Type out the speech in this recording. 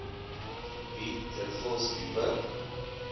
bied dikwels dieper